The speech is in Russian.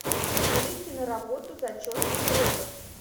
набери киноработу зачетный препод